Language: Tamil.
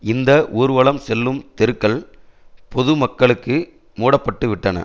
இந்த ஊர்வலம் செல்லும் தெருக்கள் பொது மக்களுக்கு மூட பட்டுவிட்டன